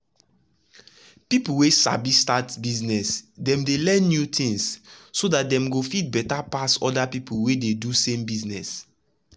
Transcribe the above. people wey sabi start business dem dey learn new things so dat dem go fit better pass other people wey dey do de same business.